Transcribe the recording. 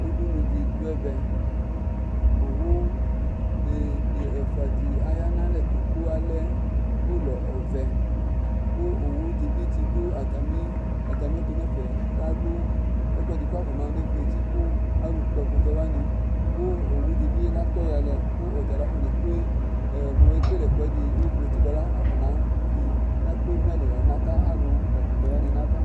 udunu di do ɛvɛ owu be be ɛfua di aya n'alɛ to kò alɛ ulɔ ɔvɛ kò owu di bi tsi do atami atami ɛtò n'ɛfɛ la lu ɛkò ɛdi k'afɔna yɔ ne vlo eti kò alò kpɔ ɛkutɛ wani kò owu di bi la tɔ ya lɛ kò ɔtala afɔne kple mo ekele ɛkò ɛdi mo evlo eti boa la afɔna vi ne kple do n'ayili naka alò la ɛkutɛ wani n'ava